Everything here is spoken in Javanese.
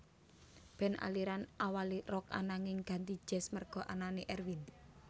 Band aliran awalé Rock ananging ganti jazz merga anané Erwin